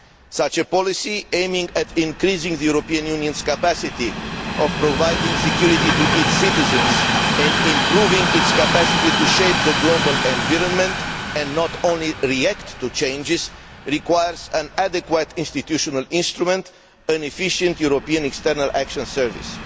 Such a policy, aimed at increasing the European Union's capacity for providing security to its citizens and improving its capacity to shape the global environment, not only to react to changes, requires an adequate institutional instrument an efficient European External Action Service.